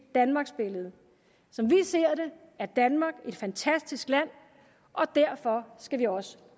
danmarksbillede som vi ser det er danmark et fantastisk land og derfor skal vi også